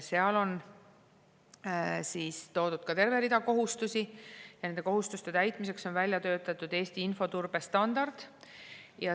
Seal on toodud terve rida kohustusi ja nende kohustuste täitmiseks on välja töötatud Eesti infoturbestandard.